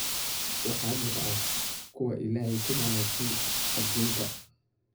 Waxaa jira kuwa Ilaahay ku manaystay adduunkan